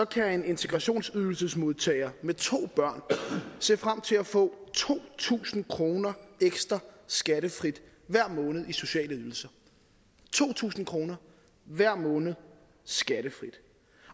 kan en integrationsydelsesmodtager med to børn se frem til at få to tusind kroner ekstra skattefrit hver måned i sociale ydelser to tusind kroner hver måned skattefrit